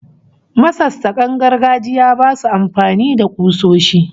Masassakan gargajiya basu amfani da kusoshi